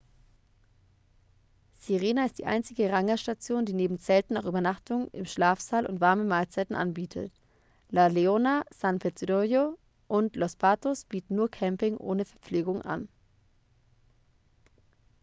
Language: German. sirena ist die einzige rangerstation die neben zelten auch übernachtung im schlafsaal und warme mahlzeiten anbietet la leona san pedrillo und los patos bieten nur camping ohne verpflegung an